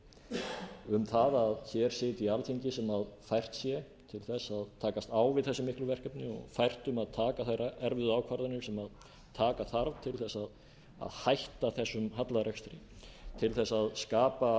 efnahagslíf um að hér sitji alþingi sem fært sé til þess að takast á við þessi miklu verkefni og fært um að taka þær erfiðu ákvarðanir sem taka þarf til þess að hætta þessum hallarekstri til að skapa